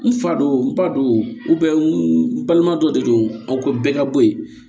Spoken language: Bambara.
N fa do n ba do n balima dɔ de don a ko bɛɛ ka bɔ ye